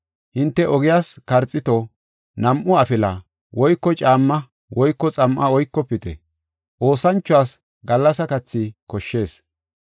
Hinte ogiyas karxiito, nam7u afila, woyko caamma woyko xam7a oykofite; oosanchuwas gallasa kathi koshshees.